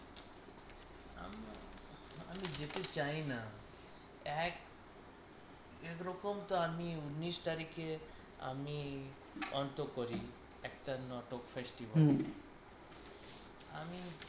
আমি যেতে চাই না এক এক রকম তো আমি উননিস তারিখে আমি অন্ত করি একটা নাটক festival হম আমি